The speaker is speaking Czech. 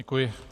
Děkuji.